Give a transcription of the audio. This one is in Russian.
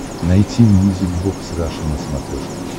найти мьюзик бокс раша на смотрешке